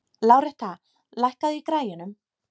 Láretta, lækkaðu í græjunum.